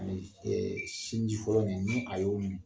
Ani sinji fɔlɔ nin, ni a y'o min